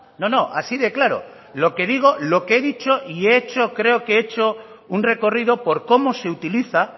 no no así de claro lo que digo lo que he dicho y he hecho creo que he hecho un recorrido por cómo se utiliza